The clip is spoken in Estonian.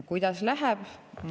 Kuidas läheb?